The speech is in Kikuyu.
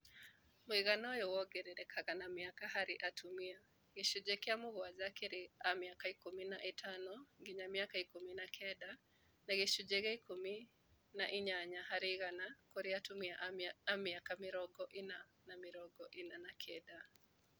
Mũigana ũyũ wongererekaga na mĩaka harĩ atumia , gĩcunjĩ kĩa mũgwanja kĩrĩ a mĩaka ikũmi na ĩtano nginya ikũmi na kenda na gĩcunjĩ kĩa ikũmi na inyanya harĩ igana kũrĩ atũmia a mĩaka mĩrongo ĩna na mĩrongo ĩna na kenda